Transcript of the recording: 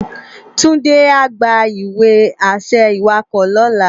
Tunde á gbá iwe-ašẹ iwákò lòlá